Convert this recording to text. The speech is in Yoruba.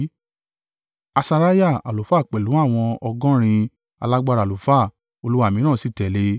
Asariah àlùfáà pẹ̀lú àwọn ọgọ́rin alágbára àlùfáà Olúwa mìíràn sì tẹ̀lé e.